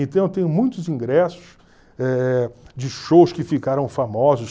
Então eu tenho muitos ingressos eh de shows que ficaram famosos.